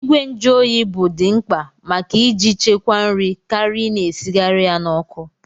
Ìgwè njuoyi bụ di mkpa maka iji chekwaa nri karịa Ị na-esigharị ya n'ọkụ.